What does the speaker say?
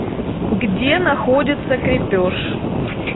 где находится крепеж